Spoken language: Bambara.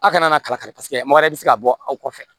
Aw kana kalakari mɔgɔ wɛrɛ bɛ se ka bɔ aw kɔfɛ